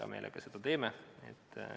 Hea meelega sellele vastame.